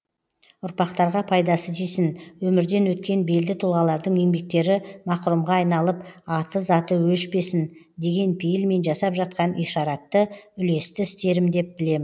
ұрпақтарға пайдасы тисін өмірден өткен белді тұлғалардың еңбектері мақұрымға айналып аты заты өшпесін деген пейілмен жасап жатқан ишаратты үлесті істерім деп білем